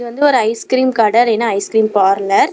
இது ஒரு ice cream கட இல்லனா ஐஸ் கிரீம் பார்லர் .